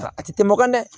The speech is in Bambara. A tɛ tɛmɛ o kan dɛ